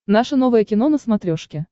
наше новое кино на смотрешке